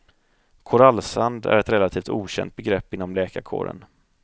Korallsand är ett relativt okänt begrepp inom läkarkåren.